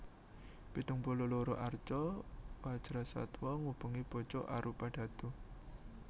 Pitung puluh loro arca Wajrasattwa ngubengi pucuk arupadhatu